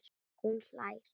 Hún hlær.